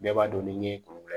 Bɛɛ b'a dɔn ni kuru la